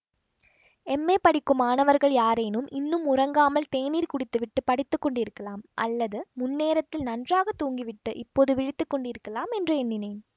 M A படிக்கும் மாணவர்கள் யாரேனும் இன்னும் உறங்காமல் தேநீர் குடித்துவிட்டுப் படித்துக்கொண்டிருக்கலாம் அல்லது முன்னேரத்தில் நன்றாக தூங்கிவிட்டு இப்போது விழித்து கொண்டிருக்கலாம் என்று எண்ணினேன்